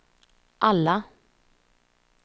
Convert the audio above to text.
alla